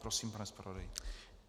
Prosím, pane zpravodaji.